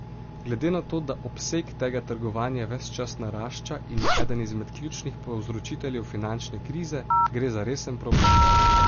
Glede na to, da obseg tega trgovanja ves čas narašča in je eden izmed ključnih povzročiteljev finančne krize, gre za resen problem.